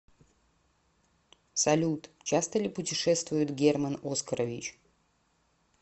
салют часто ли путешествует герман оскарович